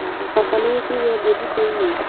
Baba nĩwikĩrire ngũ jikoinĩ?